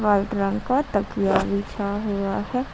White रंग का तकिए बिछा हुआ है।